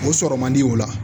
O sɔrɔ man di o la